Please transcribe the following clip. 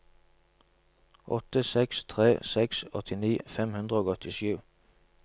åtte seks tre seks åttini fem hundre og åttisju